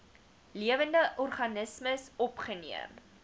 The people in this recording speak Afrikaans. lewende organismes opgeneem